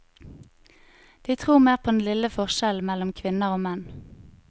De tror mer på den lille forskjellen mellom kvinner og menn.